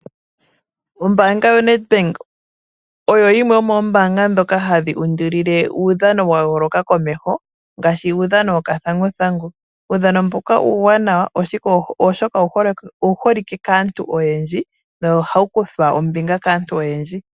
Ombanga yaNed Bank oyo yimwe yomoombanga ndhoka hadhi undulile uudhano wa yooloka komeho ngaashi uudhano wokathanguthangu. Uudhano mbuka uuwanawa oshoka owu holike kaantu oyedji nohawu kuthwa ombinga kaantu oyendji.